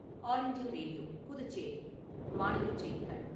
all India Radio , Puducherry மாநிலச் செய்திகள்